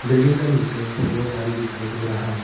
Building का नीचे दो गाड़ी दिखाई दे रहा है।